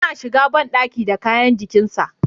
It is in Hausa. Yana shiga bandaki da kayansa ajikin sa.